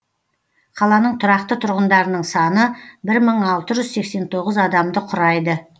қаланың тұрақты тұрғындарының саны бір мың алты жүз сексен тоғыз адамды құрайды